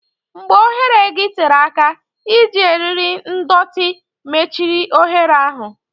Mgbe oghere gị tere aka, iji eriri ndọtị mechiri oghere ahụ.